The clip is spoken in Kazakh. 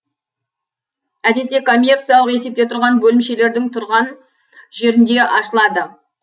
әдетте коммерциялық есепте тұрған бөлемшелердің тұрған жерінде ашылады